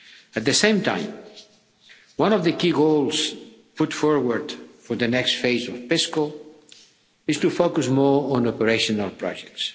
At the same time, one of the key goals put forward for the next phase of PESCO is to focus more on operational projects.